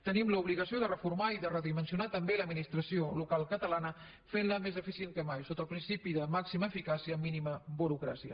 tenim l’obligació de reformar i de redimensionar també l’administració local catalana fent la més eficient que mai sota el principi de màxima eficàcia mínima burocràcia